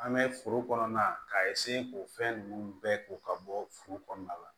An bɛ foro kɔnɔna ka k'o fɛn ninnu bɛɛ ko ka bɔ furu kɔnɔna la